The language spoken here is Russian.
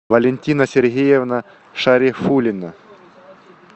валентина сергеевна шарифуллина